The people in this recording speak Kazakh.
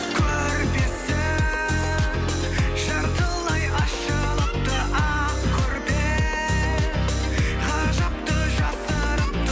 көрпесі жартылай ашылыпты ақ көрпе ғажапты жасырыпты